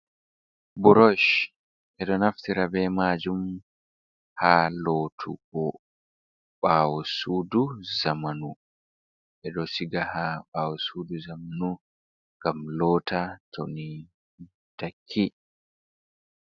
Burosh. Ɓe ɗo naftira be maajum haa lootugo ɓaawo suudu zamanu. Ɓe ɗo siga haa ɓawo suuɗi zamanu, ngam loota toni takki.